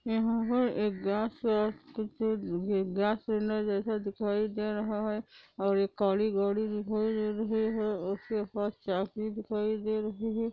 यहां है एक गैस है गैस सिलेंडर दिखाई दे रहा है और एक काली गाड़ी दिखाई दे रही है उसके पास चार पहिया दिखाई दे रहे हैं |